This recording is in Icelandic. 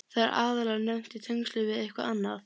Það er aðallega nefnt í tengslum við eitthvað annað.